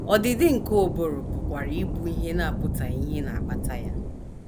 Ọdịdị nke ụbụrụ pụkwara ịbụ ihe na - apụtaghị ìhè na - akpata ya.